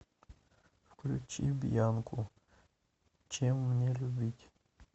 включи бьянку чем мне любить